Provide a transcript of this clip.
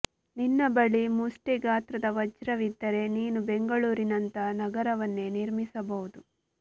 ನಿನ್ನ ಬಳಿ ಮುಷ್ಟಿಿ ಗಾತ್ರದ ವಜ್ರವಿದ್ದರೆ ನೀನು ಬೆಂಗಳೂರಿನಂಥ ನಗರವನ್ನೇ ನಿರ್ಮಿಸಬಹುದು